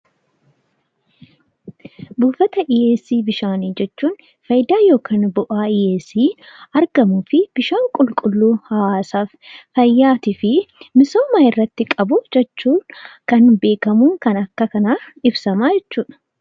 Buufata dhiheessii bishaanii jechuun faayidaa yookaan bu'aa dhiheessii argamuu fi bishaan qulqulluu hawaasaaf, fayyaatii fi misoomaaf irratti qabu jechuun kan beekamuu fi kan akka kanaan ibsamu jechuudha.